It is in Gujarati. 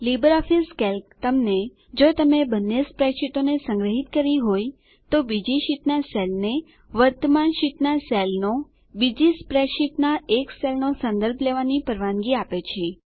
લીબરઓફીસ કેલ્ક તમને જો તમે બંને સ્પ્રેડશીટોને સંગ્રહીત કરી હોય તો બીજી શીટના સેલને વર્તમાન શીટના સેલનો બીજી સ્પ્રેડ શીટના એક સેલનો સંદર્ભ લેવાની પરવાનગી આપે છે